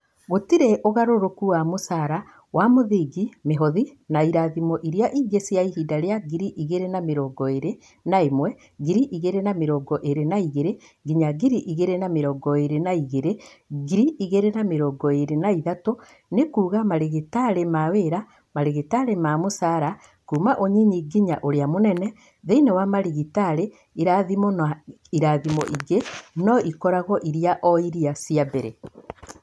Gũtirĩ ũgarũrũku wa mũcaara wa mũthingi, mĩhothi na irathimo ingĩ cia ihinda rĩa ngiri igĩrĩ na mĩrongo ĩrĩ na ĩmwe/ngiri igĩrĩ na mĩrongo ĩrĩ na igĩrĩ nginya ngiri igĩrĩ na mĩrongo ĩrĩ na igĩrĩ/ngiri igĩrĩ na mĩrongo ĩrĩ na ithatũ nĩ kuuga marigitari ma wĩra, marigitari ma mũcaara kuuma ũnyinyi nginya ũrĩa mũnene thĩinĩ wa marigitari, irathimo na irathimo ingĩ no ikoragwo irĩ o iria cia mbere.